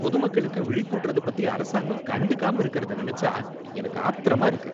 பொது மக்களுக்கு விழிப்பூட்டுறத பத்தி அரசாங்கம் கண்டுக்காம இருக்கிறத நினைச்சா எனக்கு ஆத்திரமா இருக்கு.